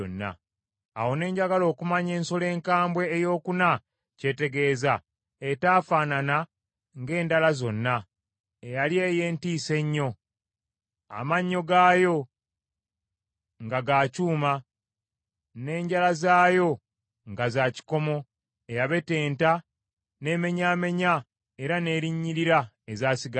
“Awo ne njagala okumanya ensolo enkambwe eyokuna ky’etegeeza, etaafaanana ng’endala zonna, eyali ey’entiisa ennyo, amannyo gaayo nga ga kyuma, n’enjala zaayo nga za kikomo, eyabetenta, n’emenyaamenya era n’erinnyirira ezaasigalawo.